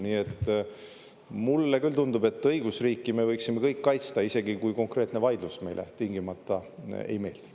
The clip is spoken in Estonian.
Nii et mulle küll tundub, et õigusriiki me võiksime kõik kaitsta, isegi kui konkreetne vaidlus meile tingimata ei meeldi.